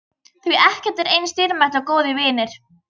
Því ekkert er eins dýrmætt og góðir vinir.